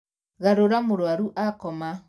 Garūra mūrwaru akoma